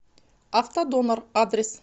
автодонор адрес